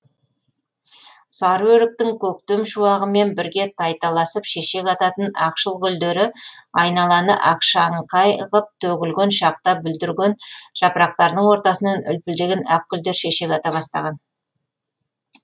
сары өріктің көктем шуағымен бірге тайталасып шешек ататын ақшыл гүлдері айналаны ақшаңқай ғып төгілген шақта бүлдірген жапырақтарының ортасынан үлпілдеген ақ гүлдер шешек ата бастаған